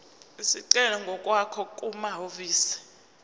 isicelo ngokwakho kumahhovisi